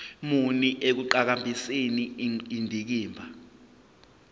muni ekuqhakambiseni indikimba